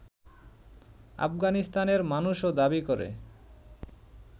আফগানিস্তানের মানুষও দাবি করে